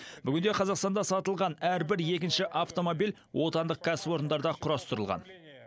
бүгінде қазақстанда сатылған әрбір екінші автомобиль отандық кәсіпорындарда құрастырылған